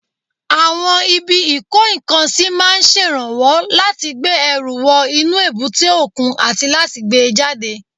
Àwọn ibi ìkó-nǹkan-sí máa ń ṣèrànwọ́ láti gbé ẹrù wọ inú èbúté òkun àti láti gbé e jáde